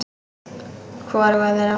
Hvoruga þeirra.